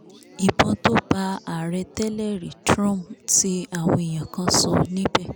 ìbọn tó bá ààrẹ tẹ́lẹ̀rí trump ń ti àwọn èèyàn kan sọ níbẹ̀